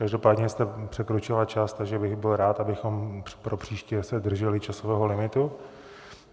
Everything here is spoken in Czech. Každopádně jste překročila čas, takže bych byl rád, abychom pro příště se drželi časového limitu.